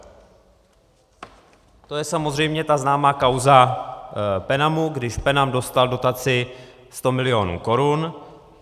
To je samozřejmě ta známá kauza Penamu, když Penam dostal dotaci 100 milionů korun.